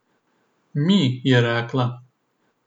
Mi, je rekla.